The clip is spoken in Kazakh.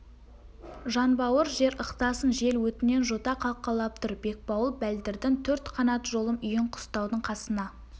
жанбауыр жер ықтасын жел өтінен жота қалқалап тұр бекбауыл бәлдірдің төрт қанат жолым үйін қыстаудың қасына